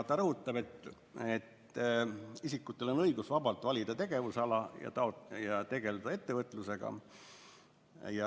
Ta rõhutab, et isikutel on õigus vabalt valida tegevusala ja tegeleda ettevõtlusega.